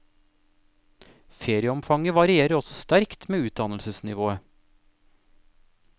Ferieomfanget varierer også sterkt med utdannelsesnivået.